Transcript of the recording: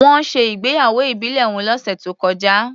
Wọ́n ṣe ìgbéyàwó ìbílẹ̀ wọn lọ́sẹ̀ tó kọjá.